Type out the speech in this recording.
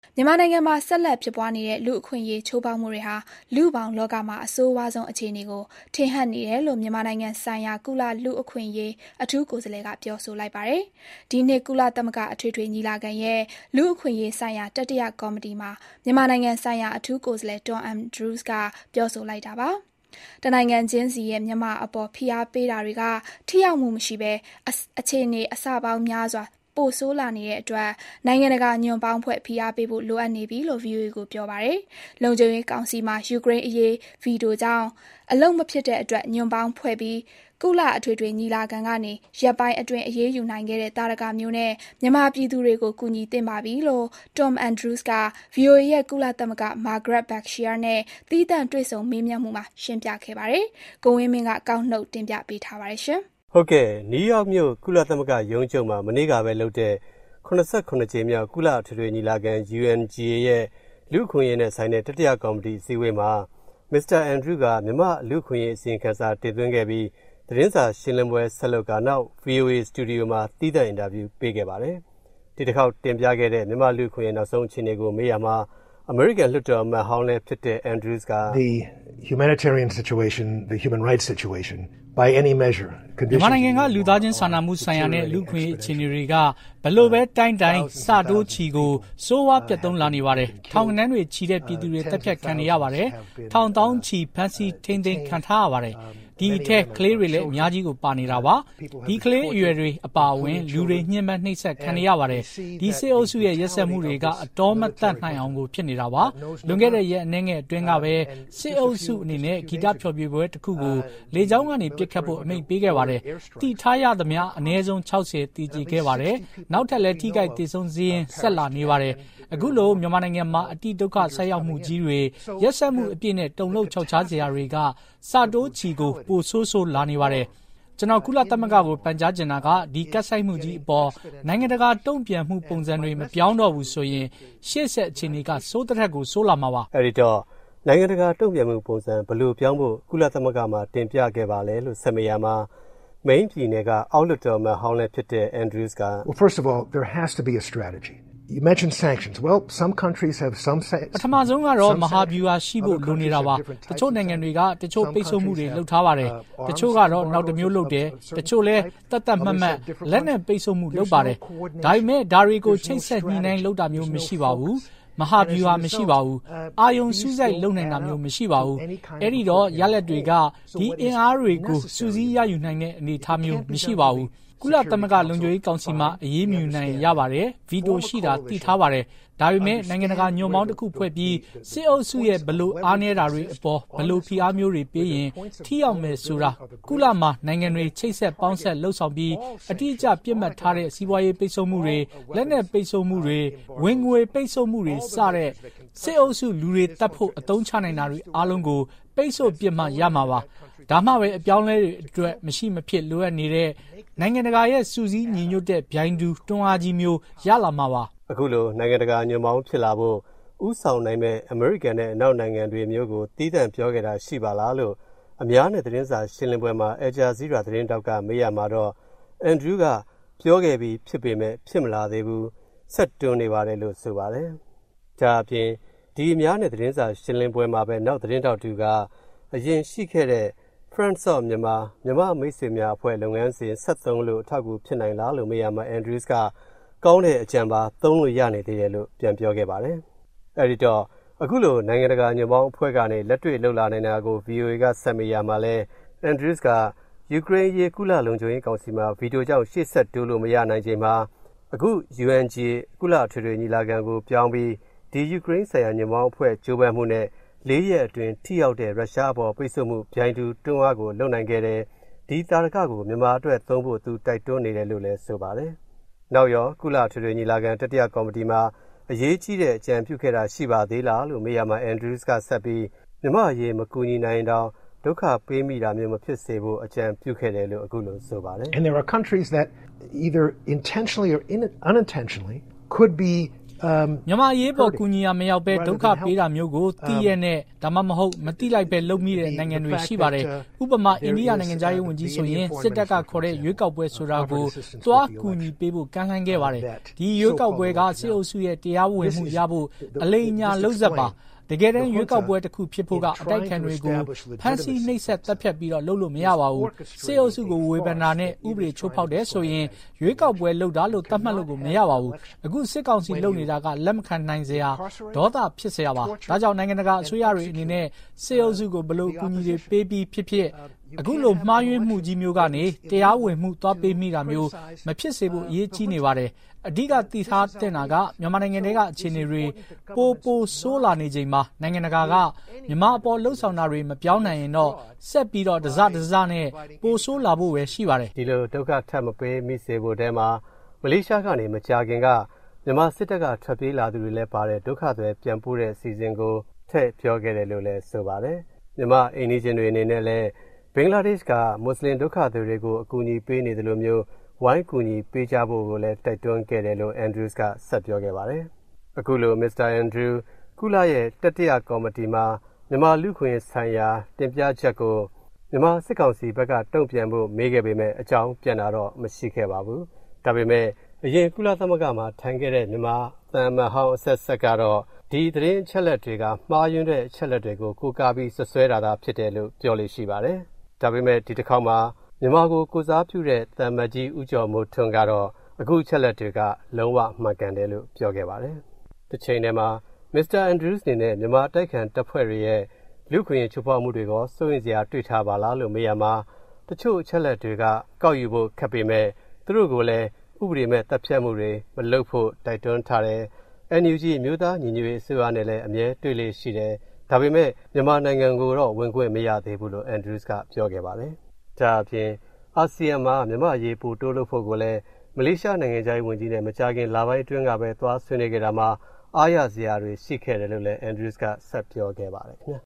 မြန်မာနိုင်ငံမှာ ဆက်လက်ဖြစ်ပွားနေတဲ့ လူ့အခွင့်အရေးချိုးဖောက်မှုတွေဟာ လူ့ဘောင်လောကမှာ အဆိုးဝါးဆုံးအခြေအနေကို ထင်ဟပ်နေတယ်လို့ မြန်မာဆိုင်ရာ ကုလလူ့အခွင့်အရေး အထူးကိုယ်စားလှယ်က ပြောဆိုလိုက်ပါတယ်။ ဒီနှစ် ကုလသမဂ္ဂအထွေထွေညီလာခံရဲ့ လူ့အခွင့်အရေးဆိုင်ရာ တတိယကော်မတီမှာ မြန်မာဆိုင်ရာ အထူးကိုယ်စားလှယ် Tom Andrews က ပြောဆိုလိုက်တာပါ။ တနိုင်ငံချင်းစီရဲ့ မြန်မာအပေါ်ဖိအားပေးတာတွေက ထိရောက်မှုမရှိဘဲ အခြေအနေအဆပေါင်းများစွာ ပိုဆိုးလာနေတဲ့အတွက် နိုင်ငံတကာညွန့်ပေါင်းဖွဲ့ပြီး ဖိအားပေးဖို့ လိုအပ်နေပြီလို့ VOA ကို ပြောပါတယ်။ လုံခြုံကောင်ရေးကောင်စီမှာ ယူကရိန်းအရေးမှာ ဗီတိုကြောင့်အလုပ်မဖြစ်တဲ့အတွက် ညွန့်ပေါင်းဖွဲ့ပြီး ကုလအထွေထွေညီလာခံကနေ ရက်ပိုင်းအတွင်းအရေးယူနိုင်ခဲ့တဲ့ သာဓကမျိုးနဲ့ မြန်မာပြည်သူတွေကိုကူညီသင့်ပါပြီလို့ Tom Andrews က VOA ရဲ့ ကုလသတင်းထောက် Margaret Besheer နဲ့ သီးသန့် တွေ့ဆုံမေးမြန်းမှုမှာ ရှင်းပြခဲ့ပါတယ်။ ကိုဝင်းမင်းက ကောက်နုတ်စုစည်း တင်ပြပေးထားပါတယ်။ နယူးယောက်မြို့၊ ကုလသမဂ္ဂရုံးချုပ်မှာ မနေ့ကလုပ်တဲ့ (၇၇) ကြိမ်မြောက် ကုလအထွေထွေညီလာခံ UNGA ရဲ့ လူ့အခွင့်အရေးနဲ့ဆိုင်တဲ့တတိယကော်မတီအစည်းအဝေးမှာ မစ္စတာ အင်ဒရူးက မြန်မာ့လူ့အခွင့်အရေး အစီရင်ခံစာတင်သွင်းခဲ့ပြီး သတင်းစာရှင်းလင်းပွဲဆက်လုပ်ခဲ့ပါတယ်။ နောက်ပြီး ဗွီအိုအေစတူဒီယိုမှာ သီးသန့်အင်တာဗျူးပေးခဲ့ပါတယ်။ ဒီတခေါက်တင်ပြခဲ့တဲ့ မြန်မာ့လူ့အခွင့်အရေး နောက်ဆုံးအခြေအနေကို မေးရာမှာ အမေရိကန်လွှတ်တော်အမတ်ဟောင်းလည်းဖြစ်တဲ့ အင်ဒရူးစ်က အခုလို ပြောပါတယ်။ “ မြန်မာနိုင်ငံက လူ့သားချင်းစာနာမှုဆိုင်ရာနဲ့ လူ့အခွင့်အရေး အခြေအနေတွေက ဘယ်လိုပဲတိုင်းတိုင်း ဆတိုးချီပြီးတော့ကို ဆိုးဝါးပျက်သုဉ်းလာနေပါတယ်။ ထောင်ဂဏန်းတွေချီတဲ့ ပြည်သူတွေ သတ်ဖြတ်ခံနေရတယ်၊ ထောင်သောင်းချီ ဖမ်းဆီးထိန်းသိမ်းခံထားရတယ်။ ဒီအထဲ ကလေးတွေလည်း အများကြီးကို ပါနေတယ်။ ဒီကလေးအရွယ်တွေအပါအဝင် လူတွေ ညှဉ်းပမ်းနှိပ်စက်ခံနေရတယ်။ ဒီစစ်အုပ်စုရဲ့ရက်စက်မှုတွေက အတောမသတ်နိုင်အောင်ကို ဖြစ်နေတာပါ။ လွန်ခဲ့တဲ့ ရက်အနည်းငယ်အတွင်းကပဲ စစ်အုပ်စုအနေနဲ့ ဂီတဖျော်ဖြေပွဲတခုကို လေကြောင်းကနေပစ်ခတ်ဖို့ အမိန့်ပေးခဲ့တယ်။ သိထားရသမျှ အနည်းဆုံး ၆၀ သေကျေခဲ့ရတယ်။ နောက်ထပ်လည်း ထိခိုက်သေဆုံးစာရင်း ဆက်လာနေတယ်။ အခုလို မြန်မာမှာ အတိဒုက္ခဆိုက်ရောက်မှုကြီးတွေ၊ ရက်စက်မှုအပြည့်နဲ့ တုန်လှုပ်ခြောက်ခြားစရာတွေက ဆတိုးချီကို ပိုဆိုးဆိုးလာနေပါတယ်။ ကုလသမဂ္ဂကို ကျနော်ပန်ကြားချင်တာက ဒီကပ်ဆိုက်မှုကြီးအပေါ် နိုင်ငံတကာတုံ့ပြန်မှုပုံစံတွေ မပြောင်းတော့ဘူးဆိုရင် ရှေ့ဆက် အခြေအနေက ဆိုးသထက်ကို ဆိုးလာမှာပါ။” အဲဒီတော့ နိုင်ငံတကာတုံ့ပြန်မှုပုံစံ ဘယ်လိုပြောင်းဖို့ ကုလသမဂ္ဂမှာ တင်ပြခဲ့ပါသလဲလို့ ဆက်မေးရာမှာ မိန်းပြည်နယ်က အောက်လွှတ်တော် အမတ်ဟောင်းလည်းဖြစ်တဲ့ အင်ဒရူးစ်က အခုလို ဖြေပါတယ်။ “ပထမဆုံးကတော့ မဟာဗျူဟာ ရှိဖို့လိုနေတာပါ။ တချို့နိုင်ငံတွေက ပိတ်ဆို့မှုတချို့လုပ်ထားတယ်။ တချို့ကတော့ နောက်တမျိုးလုပ်တယ်။ တချို့လည်း သတ်သတ်မှတ်မှတ် လက်နက်ပိတ်ဆို့မှုလုပ်တယ်။ ဒါပေမယ့် ဒါတွေကို ချိတ်ဆက်ညှိနှိုင်းလုပ်တာမျိုးတော့မရှိဘူး၊ မဟာဗျူဟာ မရှိဘူး၊ အာရုံစူးစိုက်လုပ်နိုင်တာမျိုးမရှိပါဘူး။ အဲဒီတော့ ရလဒ်တွေက ဒီအင်အားတွေကို စုစည်းရယူနိုင်တဲ့အနေအထားမျိုးမရဘူး။ အဲဒီတော့ ကုလလုံခြုံရေးကောင်စီမှာ အရေးမယူနိုင်ရင် ရပါတယ်။ ဗီတိုရှိတာ သိထားပါတယ်။ ဒါပေမယ့် နိုင်ငံတကာညွန့်ပေါင်း တခုဖွဲ့ပြီး စစ်အုပ်စုရဲ့ ဘယ်အားနည်းချက်တွေမှာ၊ ဘယ်လိုဖိအားမျိုးတွေပေးရင် ထိရောက်မယ် ဆိုတာ ကုလသမဂ္ဂမှာနိုင်ငံတွေ ချိတ်ဆက်ပေါင်းစပ်လုပ်ဆောင်ပြီး အတိအကျ ပစ်မှတ်ထားတဲ့ စီးပွားရေးပိတ် ဆို့မှုတွေ၊ လက်နက်ပိတ်ဆို့မှုတွေ၊ ဝင်ငွေပိတ်ဆို့မှုတွေ စတဲ့ စစ်အုပ်စုက လူတွေသတ်ဖို့ အသုံးချနိုင် တာတွေအားလုံးကို ပိတ်ဆို့ပစ်မှ ရမှာပါ။ ဒါမှပဲ အပြောင်းအလဲအတွက် မရှိမဖြစ်လိုအပ်နေတဲ့ နိုင်ငံတကာရဲ့ စုစည်းညီညွတ်တဲ့ ပြိုင်တူတွန်းအားကြီးမျိုး ရလာမှာပါ။ အခုလို နိုင်ငံတကာညွန့်ပေါင်းဖြစ်လာဖို့ ဦးဆောင်နိုင်မယ့် အမေရိကန်နဲ့အနောက်နိုင်ငံတွေမျိုးကို သီးသန့်ပြောခဲ့တာရှိပါလား-လို့ အများနဲ့သတင်းစာရှင်းလင်းပွဲမှာ အယ်လ်ဂျာဇီးရားသတင်းထောက်ကမေးရာမှာတော့ အင်ဒရူးစ်က ပြောခဲ့ပြီးဖြစ်ပေမယ့် ဖြစ်မလာသေးဘူး၊ ဆက်တွန်းနေပါတယ်-လို့ ဆိုပါတယ်။ ဒါ့အပြင် ဒီ အများနဲ့သတင်းစာရှင်းလင်းပွဲမှာပဲ နောက်သတင်းထောက်တဦးက အရင်ရှိခဲ့တဲ့ Friends of Myanmar - မြန်မာ့မိတ်ဆွေများအဖွဲ့ လုပ်ငန်းစဉ် ဆက်သုံးလို့ အထောက်အကူဖြစ်နိုင်လား-လို့မေးရာမှာ အင်ဒရူးစ်က “ကောင်းတဲ့အကြံပါ၊ သုံးလို့ရနေသေးတယ်” လို့ ပြန်ပြောခဲ့ပါတယ်။ အဲဒီတော့ အခုလို နိုင်ငံတကာညွန့်ပေါင်းအဖွဲ့ကနေ လက်တွေ့ လုပ်လာနိုင်တာကို ဗွီအိုအေက ဆက်မေးရာမှာလည်း အင်ဒရူးစ်က ယူကရိန်းအရေး ကုလ လုံခြုံရေးကောင်စီမှာ ဗီတိုကြောင့် ရှေ့ဆက်တိုးလို့မရနိုင်ချိန်မှာ အခု UNGA- ကုလအထွေထွေညီလာခံကို ပြောင်းပြီး ယူကရိန်းဆိုင်ရာညွန့်ပေါင်းအဖွဲ့ ကြိုးပမ်းမှုနဲ့ လေးရက်အတွင်း ရုရှားအပေါ် ထိရောက်တဲ့ပိတ်ဆို့မှု ပြိုင်တူတွန်းအားကို လုပ်နိုင်ခဲ့တယ်၊ ဒီသာဓကကို မြန်မာအတွက်သုံးဖို့ သူ တိုက်တွန်းနေတယ်လို့လည်း ဆိုပါတယ်။ နောက်ရော ကုလအထွေထွေညီလာခံ တတိယကော်မတီမှာ အရေးကြီးတဲ့အကြံပြုခဲ့တာ ရှိပါသေးလားလို့ မေးရာမှာ အင်ဒရူးစ်က ဆက်ပြီး “မြန်မာ့အရေးမကူညီနိုင်ရင်တောင် ဒုက္ခပေးမိတာမျိုးမဖြစ်စေဖို့ အကြံပြုခဲ့” တယ်လို့ အခုလို ဆိုပါတယ်။ “ မြန်မာ့အရေးအပေါ် ကူညီရာမရောက်ဘဲ ဒုက္ခပေးတာမျိုးကို သိလျက်နဲ့ ဒါမှမဟုတ် မသိလိုက်ဘဲလုပ်မိနေတဲ့ နိုင်ငံတွေရှိပါတယ်။ ဥပမာ အိန္ဒိယနိုင်ငံခြားရေးဝန်ကြီးဆိုရင် စစ်တပ်ကခေါ်တဲ့ ရွေးကောက်ပွဲဆိုတာကို သွားကူညီပေးဖို့ ကမ်းလှမ်းခဲ့ပါတယ်။ ဒီရွေးကောက်ပွဲက စစ်အုပ်စုရဲ့တရားဝင်မှုရဖို့ အလိမ်အညာလုပ်ဇာတ် ပါ။ တကယ်တမ်း ရွေးကောက်ပွဲတခုဖြစ်ဖို့က အတိုက်အခံတွေကို ဖမ်းဆီး နှိပ်စက်သတ်ဖြတ်ပြီး လုပ်လို့ မရပါဘူး။ စစ်အုပ်စုကို ဝေဖန်တာနဲ့ ဥပဒေချိုးဖောက်တယ်ဆိုရင် ရွေးကောက်ပွဲလုပ်တာလို့ သတ်မှတ်လို့ကို မရပါဘူး။ အခုစစ်ကောင်စီလုပ်နေတာက လက်မခံနိုင်စရာ၊ ဒေါသဖြစ်စရာပါ။ ဒါကြောင့် နိုင်ငံတကာအစိုးရတွေအနေနဲ့ စစ်အုပ်စုကို ဘယ်လိုအကူအညီတွေပေးပြီးဖြစ်ဖြစ် အခုလို မှားယွင်းမှုကြီးမျိုးကနေ တရားဝင်မှုသွားပေးမိတာမျိုး မဖြစ်စေဖို့ အရေးကြီးနေပါတယ်။ အဓိက သိထားသင့်တာက မြန်မာနိုင်ငံထဲက အခြေအနေတွေ ပိုပိုဆိုးလာနေချိန်မှာ နိုင်ငံတကာက မြန်မာအပေါ်လုပ်ဆောင်တာတွေ မပြောင်းနိုင်ရင်တော့ ဆက်ပြီး တစ တစနဲ့ ပိုဆိုးလာဖို့ပဲ ရှိပါတယ်။” ဒီလို ဒုက္ခ ထပ်မပေးမိစေဖို့ထဲမှာ မလေးရှားကနေ မကြာခင်က မြန်မာစစ်တပ်ကထွက်ပြေးလာသူတွေလည်းပါတဲ့ ဒုက္ခသည်ပြန်ပို့တဲ့အစီအစဉ်ကို ထည့်ပြောခဲ့တယ်လို့လည်း ဆိုပါတယ်။ မြန်မာ့အိမ်နီးချင်းတွေအနေနဲ့လည်း ဘင်္ဂလားဒေ့ရှ်က မွတ်ဆလင်ဒုက္ခသည်တွေကို အကူအညီပေးနေသလိုမျိုး ဝိုင်းဝန်းကူညီပေးကြဖို့ကိုလည်း တိုက်တွန်းခဲ့တယ်လို့ အင်ဒရူးစ်က ဆက်ပြောခဲ့ပါတယ်။ အခုလို မစ္စတာအင်ဒရူးစ် ကုလရဲ့တတိယကော်မတီမှာ မြန်မာလူ့အခွင့်အရေးဆိုင်ရာတင်ပြချက်ကို မြန်မာစစ်ကောင်စီဘက်က တုံ့ပြန်ဖို့မေးခဲ့ပေမယ့် အကြောင်းပြန်တာတော့ မရှိခဲ့ပါဘူး။ ဒါပေမယ့် အရင် ကုလသမဂ္ဂမှာထိုင်ခဲ့တဲ့ မြန်မာသံအမတ်ဟောင်း အဆက်ဆက်ကတော့ ဒီသတင်းအချက်အလက်တွေက မှားယွင်းတဲ့အချက်အလက်တွေကို ကိုးကားပြီး စွပ်စွဲထားတာ-လို့ ပြောလေ့ရှိပါတယ်။ ဒါပေမယ့် ဒီတခေါက်မှာ မြန်မာကိုကိုယ်စားပြုတဲ့ သံအမတ်ကြီး ဦးကျော်မိုးထွန်းကတော့ အခုအချက်အလက်တွေက လုံးဝ မှန်ကန်တယ်လို့ ပြောခဲ့ပါတယ်။ တချိန်တည်းမှာ မစ္စတာအင်ဒရုူးစ်အနေနဲ့ မြန်မာအတိုက်အခံတပ်ဖွဲ့တွေရဲ့ လူ့အခွင့်အရေးချိုးဖောက်မှုတွေကော စိုးရိမ်စရာတွေ့ထားပါလား-လို့ မေးရာမှာ တချို့အချက်အလက်တွေက ကောက်ယူဖို့ခက်ပေမယ့် သူတို့ကိုလည်း ဥပဒေမဲ့သတ်ဖြတ်မှုတွေမလုပ်ဖို့ တိုက်တွန်းထားတယ်၊ NUG အမျိုးသားညီညွတ်ရေးအစိုးရနဲ့လည်း အမြဲတွေ့လေ့ရှိတယ်၊ ဒါပေမယ့် မြန်မာနိုင်ငံကိုတော့ ဝင်ခွင့်မရသေးဘူး-လို့ အင်ဒရူးစ်က ပြောခဲ့ပါတယ်။ ဒါ့အပြင် အာဆီယံမှာ မြန်မာ့အရေး ပိုတိုးလုပ်ဖို့ကိုလည်း မလေးရှားနိုင်ငံခြားရေးဝန်ကြီးနဲ့ မကြာခင် လပိုင်းအတွင်းကပဲ သွားဆွေးနွေးခဲ့ရာမှာ အားရစရာတွေရှိခဲ့တယ်လို့လည်း အင်ဒရူးစ်က ဆက်ပြောခဲ့ပါတယ်ခင်ဗျာ